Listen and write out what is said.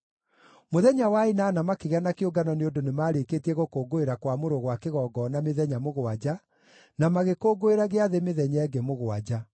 Mũthenya wa ĩnana makĩgĩa na kĩũngano nĩ ũndũ nĩmarĩkĩtie gũkũngũĩra Kwamũrwo gwa kĩgongona mĩthenya mũgwanja, na magĩkũngũĩra gĩathĩ mĩthenya ĩngĩ mũgwanja.